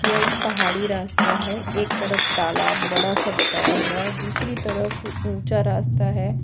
यह एक पहाड़ी रास्ता है एक तरफ तालाब बड़ा सा बताया हुआ है दूसरी तरफ ऊंचा रास्ता है।